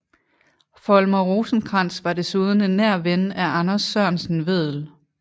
Folmer Rosenkrantz var desuden en nær ven af Anders Sørensen Vedel